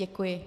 Děkuji.